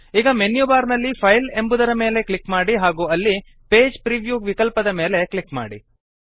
ಈಗ ಮೆನ್ಯುಬಾರ್ ನಲ್ಲಿ ಫೈಲ್ ಎಂಬುದರ ಮೇಲೆ ಕ್ಲಿಕ್ ಮಾಡಿ ಹಾಗೂ ಅಲ್ಲಿ ಪೇಜ್ ಪ್ರಿವ್ಯೂ ವಿಕಲ್ಪದ ಮೇಲೆ ಕ್ಲಿಕ್ ಮಾಡಿ